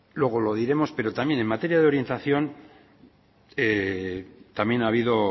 luego lo diremos pero también en materia de orientación también ha habido